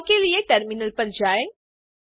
उपाय के लिए टर्मिनल पर जाएँ